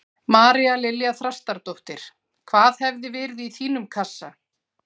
María Lilja Þrastardóttir: Hvað hefði verið í þínum kassa?